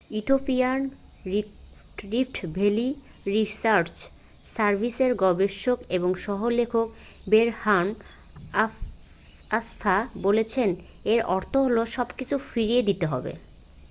ইথিওপিয়ার rift valley research সার্ভিসের গবেষক এবং সহ-লেখক বেরহান আসফা বলেছেন এর অর্থ হলো সবকিছু ফিরিয়ে দিতে হবে